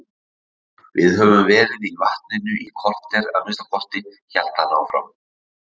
Við höfum verið í vatninu í kortér að minnsta kosti, hélt hann áfram.